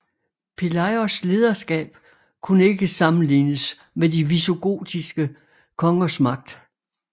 Pelayos lederskab kunne ikke sammenlignes med de visigotiske kongers magt